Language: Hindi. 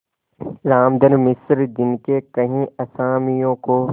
रामधन मिश्र जिनके कई असामियों को